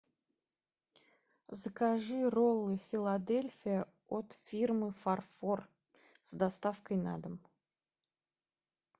закажи роллы филадельфия от фирмы фарфор с доставкой на дом